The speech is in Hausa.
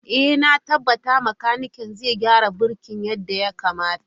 Ee, na tabbata makanikin zai gyara birki yadda ya kamata.